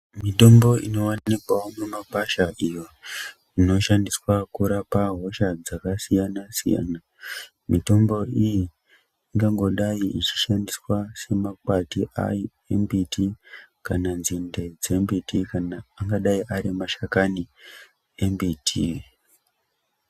Mitombo ino wanikwawo mu makwasha iyo inoshandiswa kurapa hosha dzaka siyana siyana mitombo iyi ingangodai ichi shandiswa se makwati ayo e mbiti kana nzinde dzembiti angadai ari mashakani e mbiti.